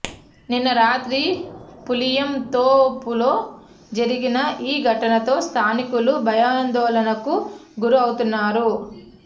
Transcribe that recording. నిన్న రాత్రి పులియంతోపులో జరిగిన ఈ ఘటనతో స్థానికులు భయాందోళనకు గురవుతున్నారు